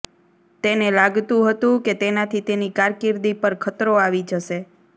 તેને લાગતું હતું કે તેનાથી તેની કારકિર્દી પર ખતરો આવી જશે